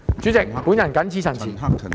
主席，我謹此陳辭。